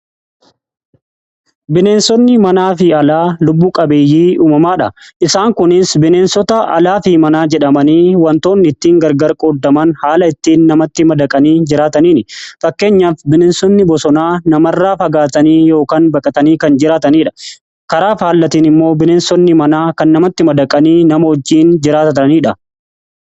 Bineensonni manaa fi alaa lubbuu qabeeyyii uumamaadha. Isaan kunis bineensota alaa fi manaa jedhamanii wantoon ittiin gargar qooddaman haala ittiin namatti madaqanii jiraataniin. Fakkeenyaaf bineensonni bosonaa namarraa fagaatanii yookaan baqatanii kan jiraataniidha. Karaa aalatiin immoo bineensonni manaa kan namatti madaqanii nama wojjiin jiraataniidha.